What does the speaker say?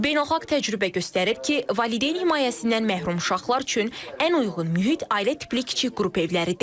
Beynəlxalq təcrübə göstərir ki, valideyn himayəsindən məhrum uşaqlar üçün ən uyğun mühit ailə tipli kiçik qrup evləridir.